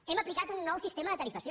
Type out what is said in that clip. hem aplicat un nou sistema de tarifació